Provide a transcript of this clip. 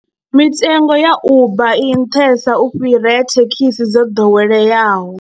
Mitengo ya Uber i nṱhesa u fhira ya thekhisi dzo ḓoweleaho.